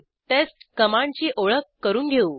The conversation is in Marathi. टेस्ट कमांडची ओळख करून घेऊ